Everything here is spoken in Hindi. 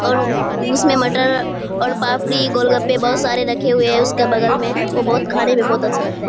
और उ उसमें मटर और पापड़ी गोलगप्पे बहुत सारे रखे हुए हैं उसके बगल में। वो बहुत खाने में बहुत अच्छा लगता है।